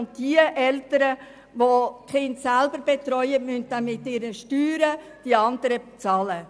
Eltern, die ihre Kinder selber betreuen, müssen mit ihren Steuern für die anderen bezahlen.